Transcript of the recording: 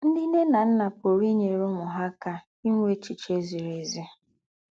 Ńdị́ ńne ná ńnà pùrù ínyèrè úmù hà ákà ínwè échichè zìrì ézì.